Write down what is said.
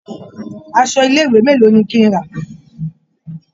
Aṣọ ilé-ìwé mélòó ni kí n rà?